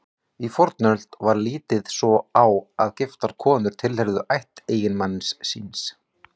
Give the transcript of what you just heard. Í fornöld var litið svo á að giftar konur tilheyrðu ætt eiginmanns síns.